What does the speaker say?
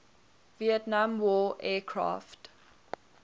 vietnam war aircraft